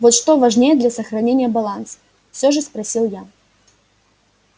вот что важнее для сохранения баланса всё же спросил я